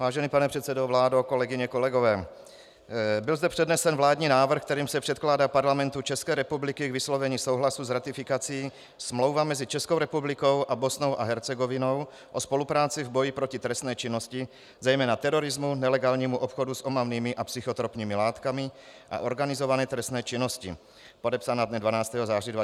Vážený pane předsedo, vládo, kolegyně, kolegové, byl zde přednesen vládní návrh, kterým se předkládá Parlamentu České republiky k vyslovení souhlasu s ratifikací Smlouva mezi Českou republikou a Bosnou a Hercegovinou o spolupráci v boji proti trestné činnosti, zejména terorismu, nelegálnímu obchodu s omamnými a psychotropními látkami a organizované trestné činnosti, podepsaná dne 12. září 2013 v Sarajevu.